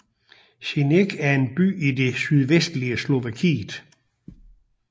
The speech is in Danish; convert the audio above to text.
Senec er en by i det sydvestlige Slovakiet